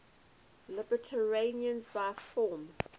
libertarianism by form